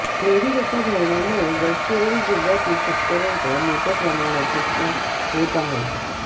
मेड्डीगट्टा धरणामुळे गडचिरोली जिल्ह्यातील शेतकऱ्यांचं मोठ्या प्रमाणात नुकसाच होत आहे